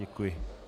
Děkuji.